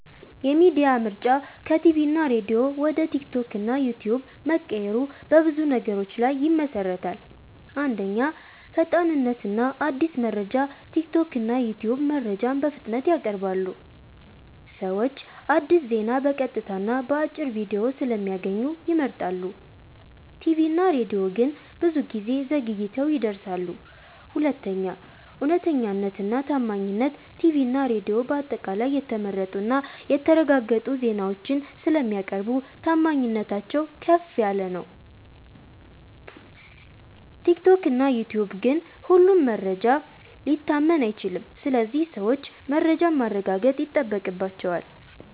የሚዲያ ምርጫ ከቲቪ እና ሬዲዮ ወደ ቲክቶክ እና ዩትዩብ መቀየሩ በብዙ ነገሮች ላይ ይመሠረታል። 1. ፈጣንነት እና አዲስ መረጃ ቲክቶክ እና ዩትዩብ መረጃን በፍጥነት ያቀርባሉ። ሰዎች አዲስ ዜና በቀጥታ እና በአጭር ቪዲዮ ስለሚያገኙ ይመርጣሉ። ቲቪ እና ሬዲዮ ግን ብዙ ጊዜ ዘግይተው ይደርሳሉ። 2. እውነተኛነት እና ታማኝነት ቲቪ እና ሬዲዮ በአጠቃላይ የተመረጡ እና የተረጋገጡ ዜናዎችን ስለሚያቀርቡ ታማኝነታቸው ከፍ ነው። ቲክቶክ እና ዩትዩብ ግን ሁሉም መረጃ ሊታመን አይችልም ስለዚህ ሰዎች መረጃን ማረጋገጥ ይጠበቅባቸዋል።